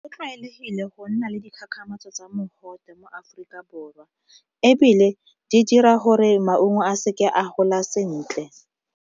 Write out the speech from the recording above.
Go tlwaelegile go nna le dikgakgamatso tsa mogote mo Aforika Borwa, ebile di dira gore maungo a seke a gola sentle.